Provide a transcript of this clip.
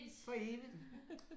For evigt